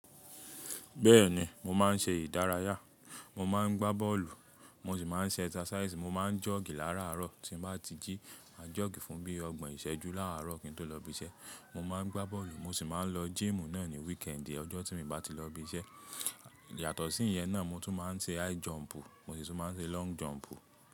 Bẹ́ẹ̀ni mo máa ń ṣe ìdárayá, mo máa ń gbá bọ́ọ̀lù, mo sì máa ń ṣe exercise. Mo máa ń jogi láràárọ̀ tí mo bá ti jí, màá jogi fún bíi ọgbọ̀n ìṣẹ́jú láràárọ̀ kí n tó lọ ibi iṣẹ́. Mo máa ń gbá bọ́ọ̀lù mo sì máa ń lọ gym náà ní weekend ọjọ́ tí mo bá ti lọ ibi iṣẹ́. Yàtọ̀ sí ìyẹn náà mo tún máa ń ṣe high jump, mo sì tún máa ń ṣe long jump.